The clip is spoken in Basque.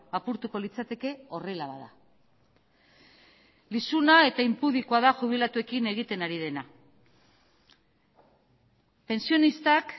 apurtuko litzateke horrela bada lizuna eta inpudikoa da jubilatuekin egiten ari dena pentsionistak